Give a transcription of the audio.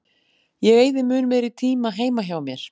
Ég eyði mun meiri tíma heima hjá mér.